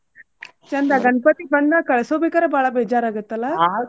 ಚಂದಾ ಗಣ್ಪತಿ ಬಂದ್ ಮ್ಯಾಲ್ ಕಳ್ಸುಬೇಕಾರ ಬಾಳ ಬೇಜಾರ್ ಆಗುತ್ತಲ್ಲ .